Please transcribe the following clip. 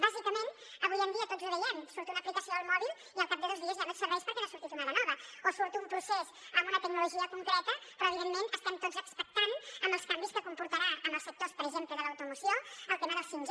bàsicament avui en dia tots ho veiem surt una aplicació al mòbil i al cap de dos dies ja no et serveix perquè n’ha sortit una de nova o surt un procés en una tecnologia concreta però evidentment estem tots expectants amb els canvis que comportarà en els sectors per exemple de l’automoció el tema del 5g